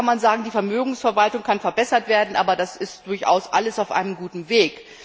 Da kann die Vermögensverwaltung verbessert werden, aber das ist durchaus alles auf einem guten Weg.